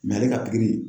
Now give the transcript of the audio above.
ale ka pikiri